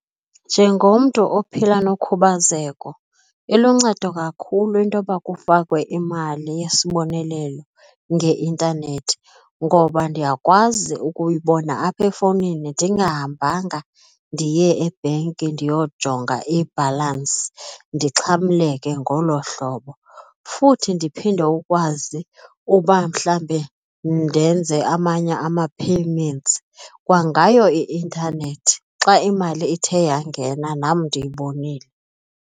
Njengomntu ophila nokhubazeko iluncedo kakhulu intoba kufakwe imali yesibonelelo ngeintanethi ngoba ndiyakwazi ukuyibona apha efowunini ndingahambanga ndiye ebhenki ndiyojonga ibhalansi ndixhamleke ngolo hlobo. Futhi ndiphinde ukwazi uba mhlawumbi ndenze amanye ama-payments kwangayo i-intanethi xa imali ithe yangena nam ndiyibonile.